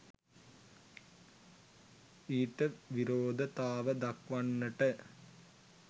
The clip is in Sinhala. ඊට විරෝධතාව දක්වන්නට